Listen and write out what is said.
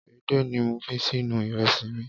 Edé ni mo fi sínú ìrẹsì mi.